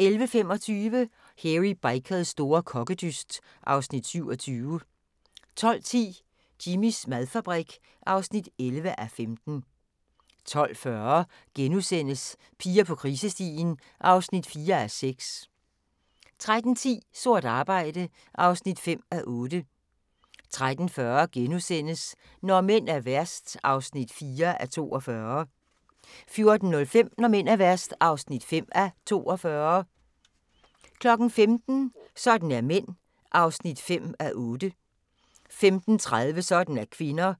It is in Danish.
11:25: Hairy Bikers store kokkedyst (Afs. 27) 12:10: Jimmys madfabrik (11:15) 12:40: Piger på krisestien (4:6)* 13:10: Sort arbejde (5:8) 13:40: Når mænd er værst (4:42)* 14:05: Når mænd er værst (5:42) 15:00: Sådan er mænd (5:8) 15:30: Sådan er kvinder